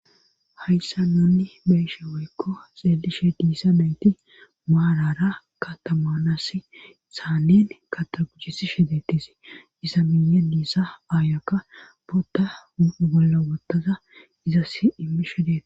Hayssa nuunni beeshe woykko xeelishe diisa nayti maarara katamanas thaaneen kataguchisi shedetisi isa miye diissa aayokka butta golla gottaza izas immi shodeeta.